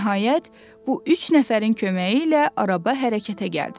Nəhayət bu üç nəfərin köməyi ilə araba hərəkətə gəldi.